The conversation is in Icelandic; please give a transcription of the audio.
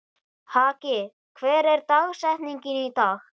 Haki, hver er dagsetningin í dag?